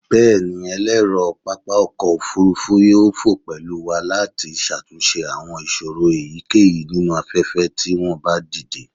Bẹẹni, ẹlẹrọ papa ọkọ ofurufu yoo fo pẹlu wa lati ṣatunṣe awọn iṣoro eyikeyi ninu afẹfẹ ti wọn ba dide